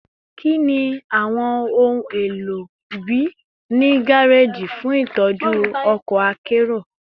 Kini awọn ohun elo bii ni gareji fun itọju ọkọ akero?